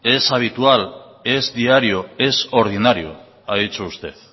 es habitual es diario es ordinario ha dicho usted